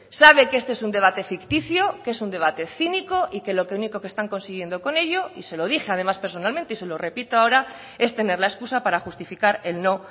sabe que este es un debate ficticio que es un debate cínico y que lo único que están consiguiendo con ello y se lo dije además personalmente y se lo repito ahora es tener la excusa para justificar el no